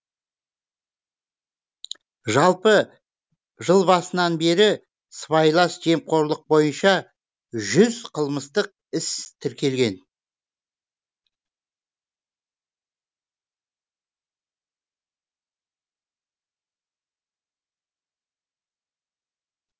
жалпы жыл басынан бері сыбайлас жемқорлық бойынша жүз қылмыстық іс тіркелген